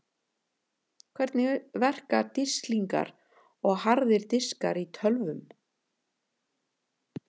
Hvernig verka disklingar og harðir diskar í tölvum?